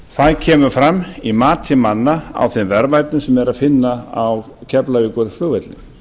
það kemur fram í mati manna á þeim verðmætum sem eru að finna á keflavíkurflugvelli